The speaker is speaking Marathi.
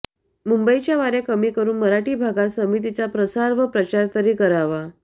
मुंबईच्या वाऱया कमी करुन मराठी भागात समितीचा प्रसार व प्रचार तरी करावा